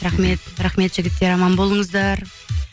рахмет рахмет жігіттер аман болыңыздар